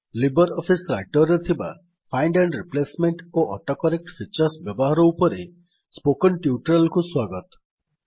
Libre office writer ରେ ଥିବା find and replacement ଓ ଅଟୋକରେକ୍ଟ୍ ଫିଚର୍ସ ବ୍ୟବହାର ଉପରେ ସ୍ପୋକନ୍ ଟ୍ୟୁଟୋରିଆଲକୁ ସ୍ୱାଗତ